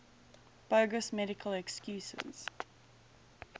bogus medical excuses